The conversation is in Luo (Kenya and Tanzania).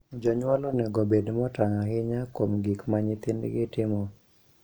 Jonyuol onego obed motang' ahinya kuom gik ma nyithindgi timo.